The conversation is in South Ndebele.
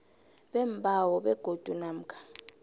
beembawo begodu namkha